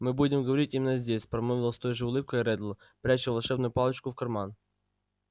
мы будем говорить именно здесь промолвил с той же улыбкой реддл пряча волшебную палочку в карман